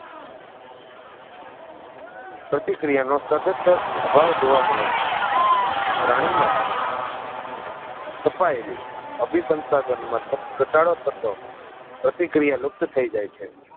પ્રતિક્રિયા નો સદંતર અભાવ જોવા મળે છે પ્રાણી માં સ્થપાયેલી અભિસંસાધન માં ઘટાડો થતો પ્રતિક્રિયા લુપ્ત થઈ જે છે